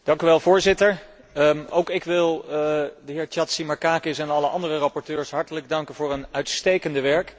Voorzitter, ook ik wil de heer Chatzimarkakis en alle andere rapporteurs hartelijk danken voor hun uitstekende werk.